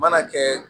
Mana kɛ